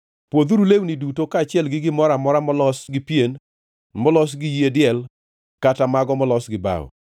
Pwodhuru lewni duto kaachiel gi gimoro amora molos gi pien, molos gi yie diel kata mago molos gi bao.”